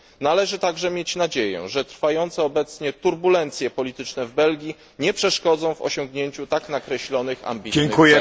Należy również mieć nadzieję, że trwające obecnie turbulencje polityczne w Belgii nie przeszkodzą w osiągnięciu tak nakreślonych ambitnych celów.